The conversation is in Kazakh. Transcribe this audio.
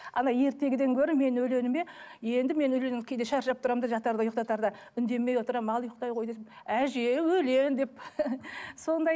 ертегіден гөрі менің өлеңіме енді мен өлең кейде шаршап тұрамын да жатарда ұйықтатарда үндемей отырамын ал ұйықтай ғой десем әже өлең деп сондай